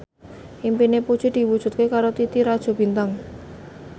impine Puji diwujudke karo Titi Rajo Bintang